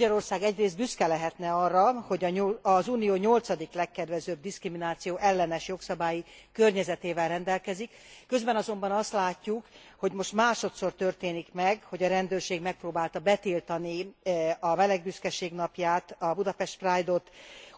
Magyarország egyrészt büszke lehetne arra, hogy az Unió nyolcadik legkedvezőbb diszkriminációellenes jogszabályi környezetével rendelkezik. Közben azonban azt látjuk, hogy most másodszor történik meg, hogy a rendőrség megpróbálta betiltani a meleg büszkeség napját, a Budapest Pride ot,